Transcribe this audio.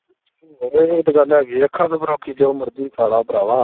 ਆਹੋ ਇਹ ਤੇ ਗੱਲ ਹੇਗੀ ਅੱਖਾਂ ਜੋ ਮਰਜੀ ਖਾਲਾ ਭਰਾਵਾਂ